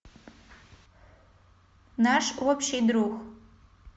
наш общий друг